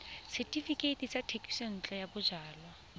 setefikeiti sa thekisontle ya bojalwa